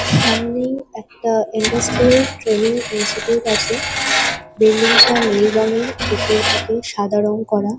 সামনে একটা industrial training institute আছে। বিল্ডিং -টা নীল রঙের। ভেতর দিকে সাদা রঙ করা।